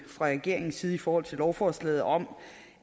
fra regeringens side i forhold til lovforslaget om